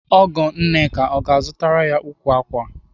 Ọgọ Nneka ọ ga-azụtara ya ukwu ákwà?